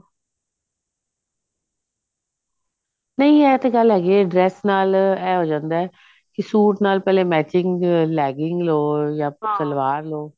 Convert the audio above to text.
ਨਹੀਂ ਇਹ ਤਾਂ ਗੱਲ ਹੈਗੀ ਐ dress ਨਾਲ ਐ ਹੋ ਜਾਂਦਾ ਕਿ suit ਨਾਲ ਪਹਿਲਾਂ matching legging ਲੋ ਜਾ ਸਲਵਾਰ ਲੋ